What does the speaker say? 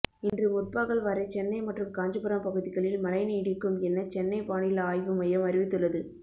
இன்று முற்பகல் வரை சென்னை மற்றும் காஞ்சிபுரம் பகுதிகளில் மழை நீடிக்கும் என சென்னை வானிலை ஆய்வு மையம் அறிவித்துள்ளது